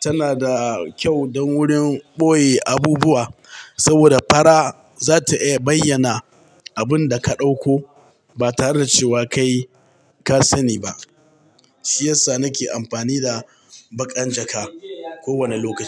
tana da kyau don wurin ɓoye abubuwa saboda fara za ta iya bayyana abun da ka ɗauko ba tare da cewa kai ka sani ba. Shi yasa nake amfani da baƙan jaka kowane lokaci.